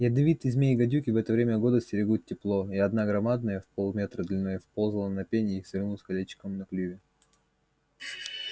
ядовитые змеи гадюки в это время года стерегут тепло и одна громадная в полметра длиной вползла на пень и свернулась колечком на клюве